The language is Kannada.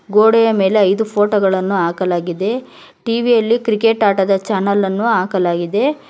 ಗೋಡೆಯ ಮೇಲೆ ಐದು ಫೋಟೋ ಗಳನ್ನು ಹಾಕಲಾಗಿದೆ ಟಿ_ವಿ ಯಲ್ಲಿ ಕ್ರಿಕೆಟ್ ಆಟದ ಚಾನಲ್ ಅನ್ನು ಹಾಕಲಾಗಿದೆ.